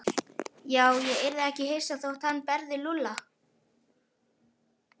Já, ég yrði ekki hissa þótt hann berði Lúlla.